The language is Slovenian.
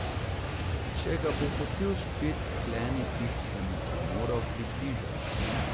Če ga bo hotel spet vkleniti, se mu bo moral približati.